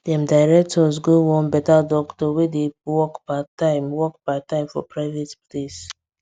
dem direct us go one better doctor wey dey work parttime work parttime for private place